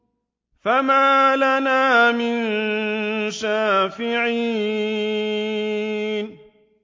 فَمَا لَنَا مِن شَافِعِينَ